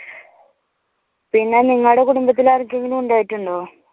പിന്നെ നിങ്ങളുടെ കുടുംബത്തിൽ ആർക്കെങ്കിലും ഉണ്ടായിട്ടുണ്ടോ?